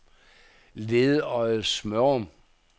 Ledøje-Smørum